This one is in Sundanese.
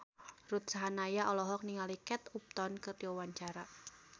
Ruth Sahanaya olohok ningali Kate Upton keur diwawancara